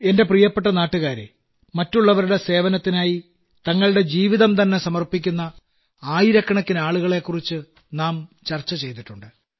എന്റെ പ്രിയപ്പെട്ട നാട്ടുകാരേ മറ്റുള്ളവരുടെ സേവനത്തിനായി തങ്ങളുടെ ജീവിതംതന്നെ സമർപ്പിക്കുന്ന ആയിരക്കണക്കിന് ആളുകളെക്കുറിച്ച് നാം ചർച്ച ചെയ്തിട്ടുണ്ട്